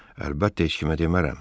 Əlbəttə, heç kimə demərəm.